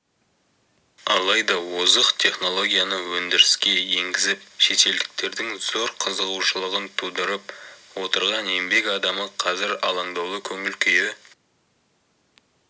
алайда озық технологияны өндіріске енгізіп шетелдіктердің зор қызығушылығын тудырып отырған еңбек адамы қазір алаңдаулы көңіл күйі